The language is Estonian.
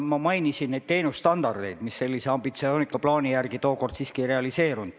Ma mainisin neid teenusstandardeid, mis selle ambitsioonika plaani järgi tookord siiski ei realiseerunud.